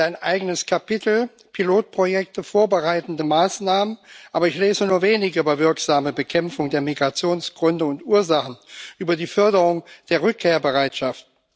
Es gibt ein eigenes Kapitel Pilotprojekte, vorbereitende Maßnahmen, aber ich lese nur wenig über wirksame Bekämpfung der Migrationsgründe und ursachen, über die Förderung der Rückkehrbereitschaft.